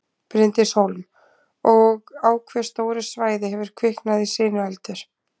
Bryndís Hólm: Og á hve stóru svæði hefur kviknað í sinueldur?